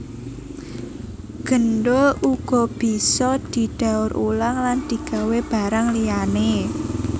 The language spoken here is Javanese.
Gendul uga bisa didaur ulang lan digawé barang liyané